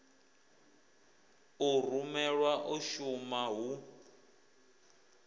u rumelwa u shuma hu